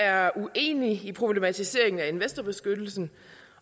er uenig i problematiseringen af investorbeskyttelsen